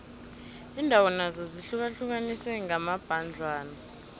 iindawo nazo zihlukaniswe kambadlwana